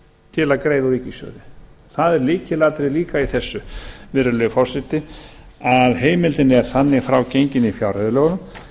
til að greiða úr ríkissjóði það er líka lykilatriði í þessu virðulegi forseti að heimildin er þannig frá gengin í fjárreiðulögunum